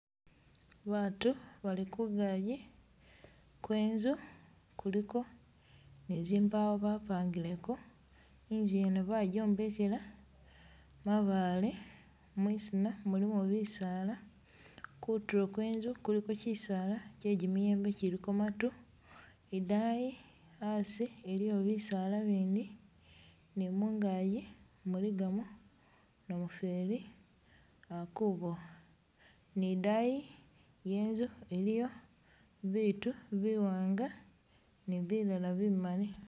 Batu bali kungaji kwenzu kuliko ni zimbawo bapangileko, inzu yene bajombekela mabale, mwisina mulimo bisaala, kutulo kwenzu kuliko kyisaala kye jimiyembe kyiliko matu, idayi asi iliwo bisaala bindi ni mungaji muligamo namufeli akubowa ni idayi yenzu iliyo bitu biwanga ni bilala bimali